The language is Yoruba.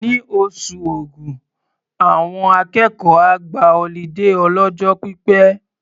Ní oṣù Ògún, àwọn akẹ́kọ̀ọ́ á gba ọlídé ọlọ́jọ́ pípẹ́.